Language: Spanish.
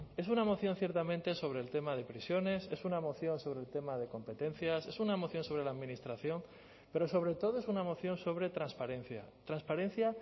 es una moción ciertamente sobre el tema de prisiones es una moción sobre el tema de competencias es una moción sobre la administración pero sobre todo es una moción sobre transparencia transparencia